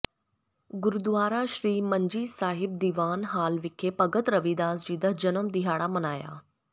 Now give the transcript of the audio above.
Gurdwara Sri Manji Sahib Diwan hall ਵਿਖੇ ਭਗਤ ਰਵਿਦਾਸ ਜੀ ਦਾ ਜਨਮ ਦਿਹਾੜਾ ਮਨਾਇਆ